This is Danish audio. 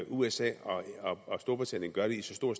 usa og storbritannien gør det i så stor